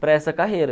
para essa carreira.